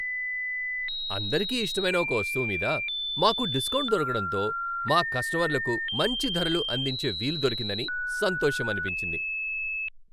అందరికీ ఇష్టమైన ఒక వస్తువు మీద మాకు డిస్కౌంట్ దొరకడంతో మా కస్టమర్లకు మంచి ధరలు అందించే వీలు దొరికిందని సంతోషమనిపించింది.